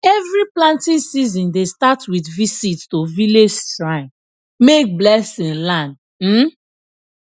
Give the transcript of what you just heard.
every planting season dey start with visit to village shrine make blessing land um